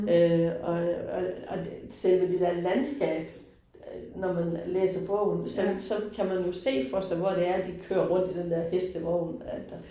Øh og og og selve det der landskab øh, når man læser bogen, så så kan man jo se for sig, hvor det er de kører rundt i den der hestevogn, at der